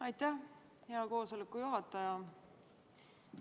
Aitäh, hea koosoleku juhataja!